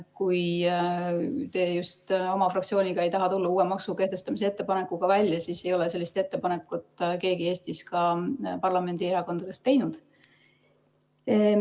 Kui te just oma fraktsiooniga ei taha tulla uue maksu kehtestamise ettepanekuga välja, siis ei ole sellist ettepanekut Eestis keegi, ka mitte keegi parlamendierakondadest teinud.